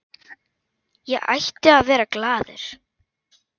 Ég ætti að vera glaður.